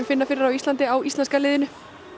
finna fyrir á Íslandi á íslenska liðinu